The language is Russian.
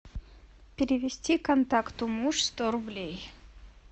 перевести контакту муж сто рублей